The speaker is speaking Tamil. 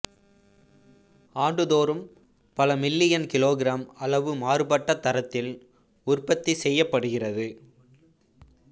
ஆண்டுதோறும் பல மில்லியன் கிலோகிராம் அளவு மாறுபட்ட தரத்தில் உற்பத்தி செய்யப்படுகிறது